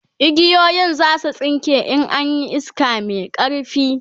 igiyoyin zasu tsinke in an Yi iska Mai ƙarfi